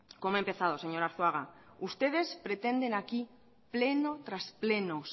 como he empezado señor arzuaga ustedes pretenden aquí pleno tras pleno